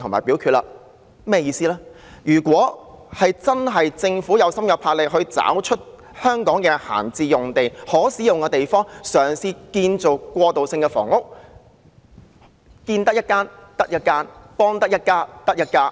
說明關鍵在於政府是否真的有心、有魄力，找出香港的閒置用地及可供使用的地方建造過渡性房屋，建得一間得一間，幫得一家得一家。